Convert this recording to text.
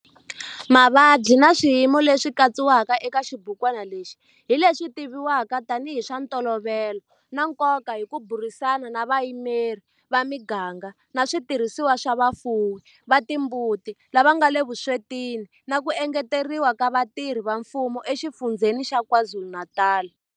Mavabyi na swiyimo leswi katsiwaka eka xibukwana lexi hi leswi tivivwaka tanihi hi swa ntolovelo na nkoka hi ku burisana na vayimeri va miganga na switirhisiwa swa vafuwi va timbuti lava nga le vuswetini na ku engeteriwa ka vatirhi va mfumo eXifundzheni xa KwaZulu-Natal.